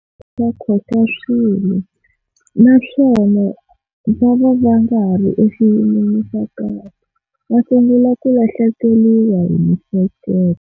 Va khotsa swilo naswona va va va nga ha ri eswiyin'weni swa kahle va sungula ku lahlekeriwa hi mihleketo.